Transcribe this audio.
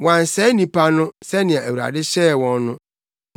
Wɔansɛe nnipa no sɛnea Awurade hyɛɛ wɔn no,